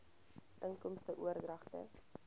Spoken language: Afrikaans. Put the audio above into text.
inkomste oordragte